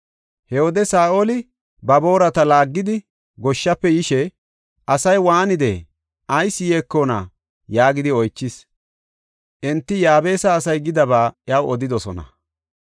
He wode Saa7oli ba boorata laaggidi goshshafe yishe, “Asay waanidee? Ayis yeekona?” yaagidi oychis. Enti Yaabesa asay gidaba iyaw odidosona.